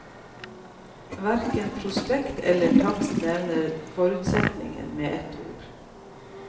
Hverken prospekt eller takst nevner forurensningen med et ord.